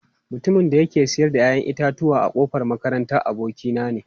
Mutumin da yake sayar da 'ya'yan itatuwa a kofar makaranta, abokina ne.